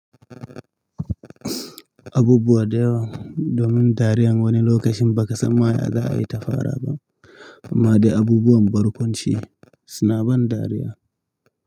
Abubuwa da yawa domin dariyar wani lokacin ba ka san ma ya za a yi ta fara ba, amma dai abubuwan barkwanci suna ban dariya.